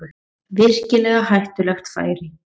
Virkilega hættulegt færi